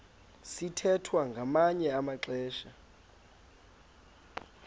sithwethwa ngamanye amaxesha